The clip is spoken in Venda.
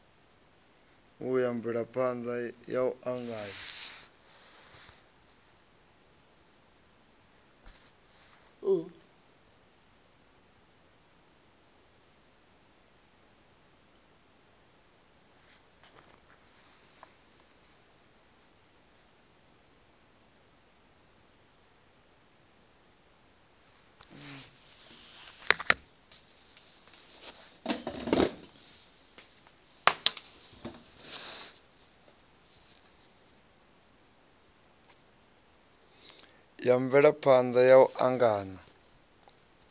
ya mvelaphana ya u angana